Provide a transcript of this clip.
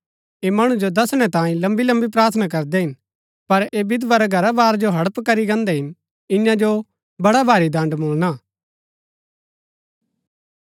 ऐह मणु जो दसणै लम्बी लम्बी प्रार्थना करदै हिन पर ऐह विधवा रै घरा बार जो हड़प करी गान्दै हिन ईयां जो बड़ा भारी दण्ड़ मुळणा